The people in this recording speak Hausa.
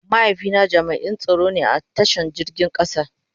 Mahaifi na jami'n tsaro ne a ta shan jirgin kasa.